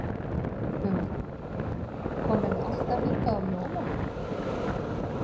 Hugrún: Komið þið alltaf hingað á jólunum?